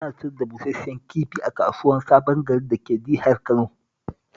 Ana sayar da busash-shen kifi a kasuwar Sabon Gari dake Jihar Kano